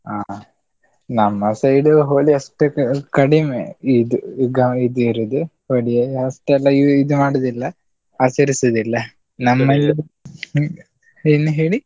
ಆ ಹ, ನಮ್ಮ side Holi ಅಷ್ಟು ಕಡಿಮೆ ಇದು ಗ ಇದು ಇರುದು, ಹೋಳಿ ಆ ಅಷ್ಟೆಲ್ಲಾ ಇ~ ಇದು ಮಾಡುದಿಲ್ಲ, ಆಚರಿಸೋದಿಲ್ಲ , ಏನ್ ಹೇಳಿ?